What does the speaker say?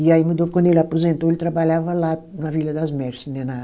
E aí mudou, quando ele aposentou, ele trabalhava lá na Vila das Merses, né? Na